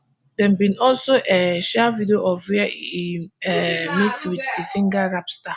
dem bin also um share video of wia im um meet wit di nigeria rap star